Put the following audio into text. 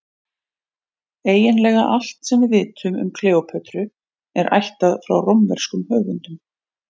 Eiginlega allt sem við vitum um Kleópötru er ættað frá rómverskum höfundum.